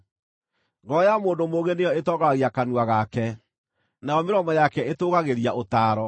Ngoro ya mũndũ mũũgĩ nĩyo ĩtongoragia kanua gake, nayo mĩromo yake ĩtũũgagĩria ũtaaro.